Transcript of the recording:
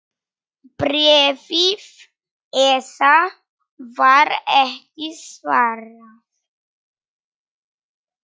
Bréfi ESA var ekki svarað.